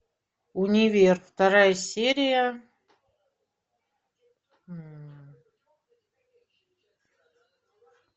универ вторая серия